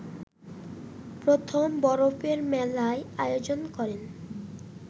প্রথম বরফের মেলার আয়োজন করেন